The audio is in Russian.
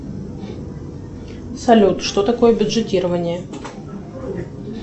салют что такое бюджетирование